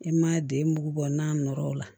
I ma den bugu bɔ n'a nɔrɔ la